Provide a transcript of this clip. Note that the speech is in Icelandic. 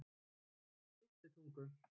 Ytri Tungu